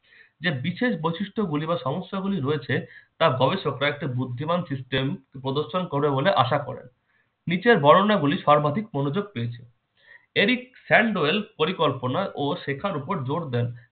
যে বিশেষ বৈশিষ্ট্যগুলি বা সমস্যাগুলি রয়েছে তা গবেষকরা একটি বুদ্ধিমান system উপদর্শন করবে বলে আশা করে। নিচের বর্ণনাগুলি সর্বাধিক মনোযোগ পেয়েছে। এরই sandwell পরিকল্পনা ও শেখার উপর জোর দেন।